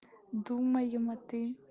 думаем а ты